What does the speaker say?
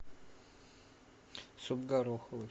суп гороховый